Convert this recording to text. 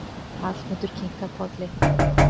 Hallmundur kinkar kolli.